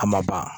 A ma ban